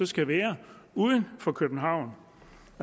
skal være uden for københavn